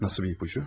Nasıl bir ipucu?